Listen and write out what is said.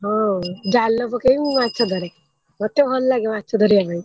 ହଁ ଜାଲ ପକେଇ ମୁ ମାଛ ଧରେ ମତେ ଭଲ ଲାଗେ ମାଛ ଧରିବା ପାଇଁ।